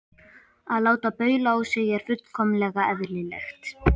Að láta baula á sig er fullkomlega eðlilegt.